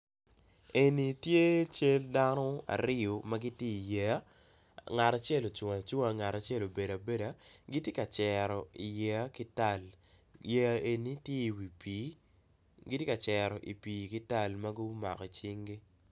En tye cal dano aryo ma gitye i yeya ngat acel ocung acung ngat acel obedo abeda gitye ka cero yeya eni ki pol yeya eni tye i wi pii gitye ka cero yeya ki cinggi